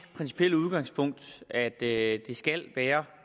udgangspunkt at det skal være